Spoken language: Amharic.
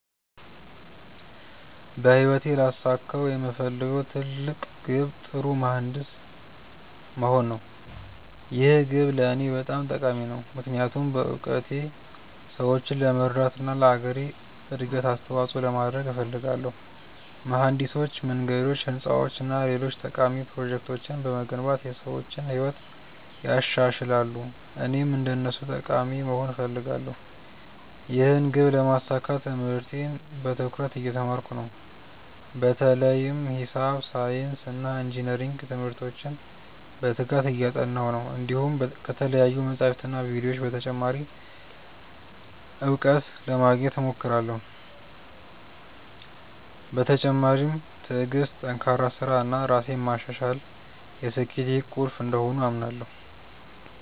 በህይወቴ ላሳካው የምፈልገው ትልቅ ግብ ጥሩ መሀንዲስ መሆን ነው። ይህ ግብ ለእኔ በጣም ጠቃሚ ነው፣ ምክንያቱም በእውቀቴ ሰዎችን ለመርዳት እና ለአገሬ እድገት አስተዋፅኦ ለማድረግ እፈልጋለሁ። መሀንዲሶች መንገዶች፣ ህንፃዎች እና ሌሎች ጠቃሚ ፕሮጀክቶችን በመገንባት የሰዎችን ህይወት ያሻሽላሉ፣ እኔም እንደነሱ ጠቃሚ ሰው መሆን እፈልጋለሁ። ይህን ግብ ለማሳካት ትምህርቴን በትኩረት እየተማርኩ ነው፣ በተለይም ሂሳብ፣ ሳይንስ እና ኢንጅነሪንግ ትምህርቶችን በትጋት እያጠናሁ ነው። እንዲሁም ከተለያዩ መጻሕፍትና ቪዲዮዎች ተጨማሪ እውቀት ለማግኘት እሞክራለሁ። በተጨማሪም ትዕግሥት፣ ጠንካራ ሥራ እና ራሴን ማሻሻል የስኬቴ ቁልፍ እንደሆኑ አምናለሁ።